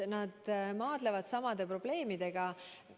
Nad maadlevad samade probleemidega.